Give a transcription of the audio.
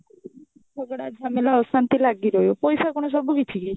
ଝଗଡା ଝାମେଲା ଅଶାନ୍ତି ଲାଗିରହିବ ପଇସା କଣ ସବୁକିଛି କି